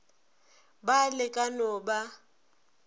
ba le ka no ba